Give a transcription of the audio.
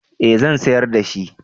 eh zan sayar da shi